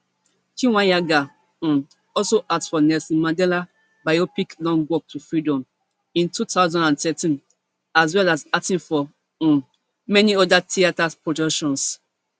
chweneyagae um also act for nelson mandela biopic long walk to freedom in two thousand and thirteen as well as acting for um many oda theatre productions